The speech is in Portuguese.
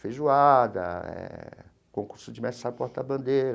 Feijoada eh, concurso de mestre-sala e porta-bandeira,